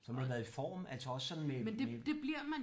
Så må du have været i form altså også sådan med med